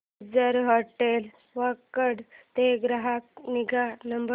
ginger hotel Wakad चा ग्राहक निगा नंबर